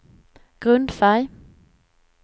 grundfärg